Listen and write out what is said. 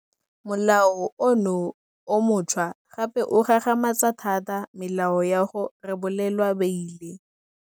Molao ono o montšhwa gape o gagamatsa thata melao ya go rebolelwa beile.